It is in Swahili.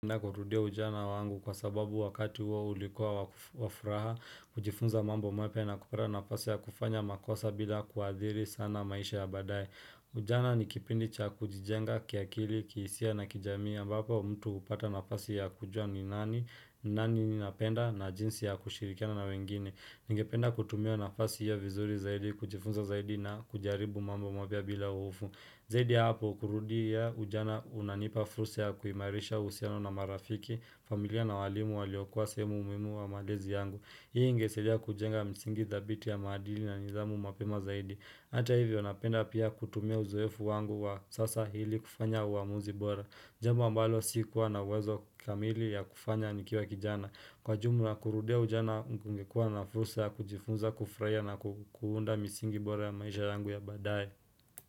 Na kurudia ujana wangu kwa sababu wakati huo ulikuwa wa wa furaha, kujifunza mambo mapya na kupewa nafasi ya kufanya makosa bila kuadhiri sana maisha ya baadaye. Ujana ni kipindi cha kujijenga kiakili, kiisia na kijamii ambapo mtu upata nafasi ya kujua ni nani, ni nani ni napenda na jinsi ya kushirikiana na wengine. Ningependa kutumia nafasi ya vizuri zaidi, kujifunza zaidi na kujaribu mambo mapya bila uofu. Zaidi ya hapo kurudia ujana unanipa fursa ya kuimarisha uhusiano na marafiki, familia na walimu waliokua sehemu muhimu wa malezi yangu. Hii ingesaidia kujenga msingi thabiti ya maadili na nithamu mapema zaidi. Hata hivyo napenda pia kutumia uzoefu wangu wa sasa hili kufanya uamuzi bora. Jambu ambalo sikuwa na uwezo kamili ya kufanya nikiwa kijana. Kwa jumla kurudia ujana ungekua na fursa ya kujifunza kufurahia na kuunda misingi bora ya maisha yangu ya baadaye.